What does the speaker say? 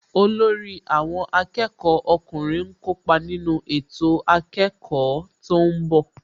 Olórí àwọn akẹ́kọ̀ọ́ ọkùnrin ń kópa nínú ètò akẹ́kọ̀ọ́ tó ń bọ̀